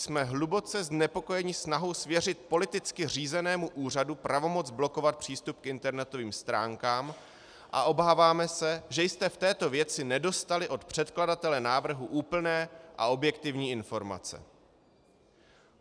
Jsme hluboce znepokojeni snahou svěřit politicky řízenému úřadu pravomoc blokovat přístup k internetovým stránkám a obáváme se, že jste v této věci nedostali od předkladatele návrhu úplné a objektivní informace.